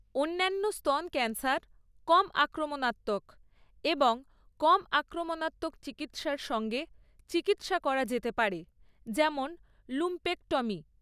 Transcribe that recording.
অন্যান্য স্তন ক্যান্সার কম আক্রমনাত্মক এবং কম আক্রমনাত্মক চিকিত্সার সঙ্গে চিকিত্সা করা যেতে পারে, যেমন লুম্পেক্টমি।